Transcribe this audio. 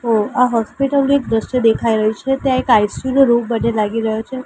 ઓ આ હોસ્પિટલ નુ એક દ્રશ્ય દેખાય રહ્યુ છે ત્યાં એક આઇ_સી_યુ નો રૂમ મને લાગી રહ્યો છે.